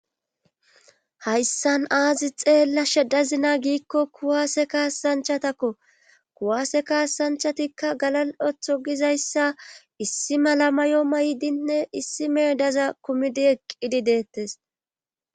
hayssan aazi xeella sheddazina giikko kuwaase kaasanchatakko kuwaase kaasanchatikka galal7otho gizayssa issi mala mayo may7dinne issi meyo daza kumidi eqqidi deettes